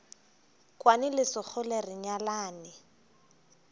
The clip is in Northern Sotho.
kwane le sekgole re nyalane